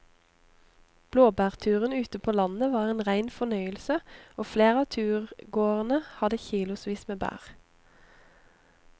Blåbærturen ute på landet var en rein fornøyelse og flere av turgåerene hadde kilosvis med bær.